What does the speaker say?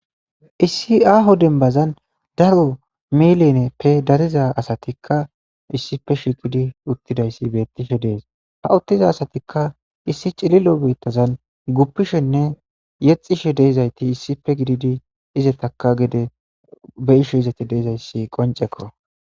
issi aho dembazan daro milineppe dariza asatikka issife shikidi uttidayssi beettishe dees ha uttiza asatikka issi cililo beittazan guppishenne yexishe deezayti issife gididi izetaka gede beisho izete deezayssi qoncekko